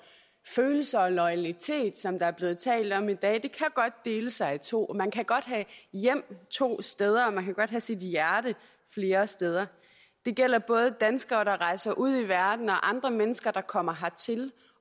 følelser og loyalitet som der er blevet talt om i dag kan godt dele sig i to man kan godt have hjem to steder og man kan godt have sit hjerte flere steder det gælder både danskere der rejser ud i verden og andre mennesker der kommer hertil